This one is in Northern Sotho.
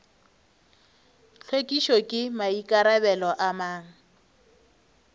hlwekišo ke maikarabelo a mang